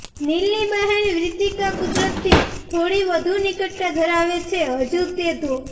નીલની બહેન વ્રિતિકા કુદરતથી થોડી વધુ નિકટતા ધરાવે છે હજુ તે ધો